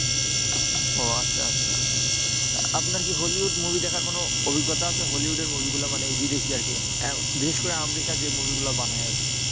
ও আচ্ছা আচ্ছা। তা আপনার কি হলিউড movie দেখার কোন অভিজ্ঞতা আছে? হলিউডের movie গুলো মানে বিদেশি আরকি, আহ বিশেষ করে আমেরিকা যে movie গুলা বানায় আরকি?